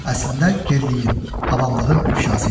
Əslində geriliyin, avamlığın ifşası idi.